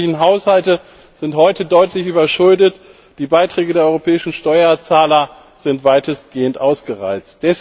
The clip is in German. Die öffentlichen Haushalte sind heute deutlich überschuldet, die Beiträge der europäischen Steuerzahler sind weitestgehend ausgereizt.